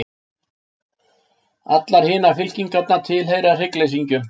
Allar hinar fylkingarnar tilheyra hryggleysingjum.